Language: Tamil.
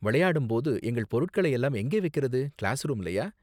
விளையாடும் போது எங்கள் பொருட்களை எல்லாம் எங்கே வைக்கறது, கிளாஸ்ரூம்லயா?